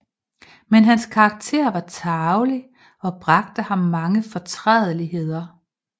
Men hans Karakter var tarvelig og bragte ham mange Fortrædeligheder